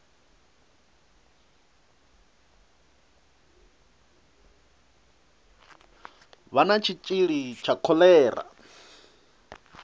vha na tshitshili tsha kholera